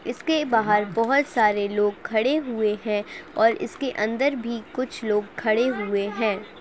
इसके बाहर बहुत सारे लोग खड़े हुए हैं और इसके अंदर भी कुछ लोग खड़े हुए हैं।